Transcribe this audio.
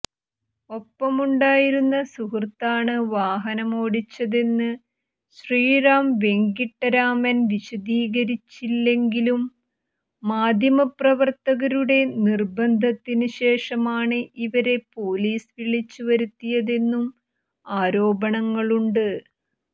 ഒപ്പമുണ്ടായിരുന്ന സുഹൃത്താണ് വാഹനമോടിച്ചതെന്ന് ശ്രീറാം വെങ്കിട്ടരാമൻ വിശദീകരില്ലെങ്കിലും മാധ്യമപ്രവർത്തകരുടെ നിർബന്ധത്തിന് ശേഷമാണ് ഇവരെ പൊലീസ് വിളിച്ച് വരുത്തിയതെന്നും ആരോപണങ്ങളുണ്ട്